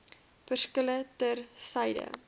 verskille ter syde